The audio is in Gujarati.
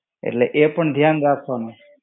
એટલે એ પણ ધ્યાન રાખવાનું.